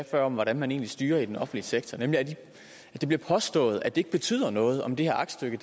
før om hvordan man egentlig styrer den offentlige sektor nemlig at det bliver påstået at det ikke betyder noget om det her aktstykke